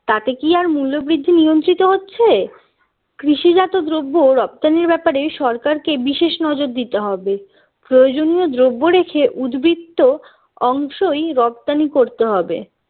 তাতে কি আর মূল্যবৃদ্ধি নিয়ন্ত্রিত হচ্ছে কৃষিজাত দ্রব্য রফতানির ব্যাপারে সরকারকে বিশেষ নজর দিতে হবে প্রয়োজনীয় দ্রব্য রেখে উদ্বৃত্ত অংশই রপ্তানি করতে হবে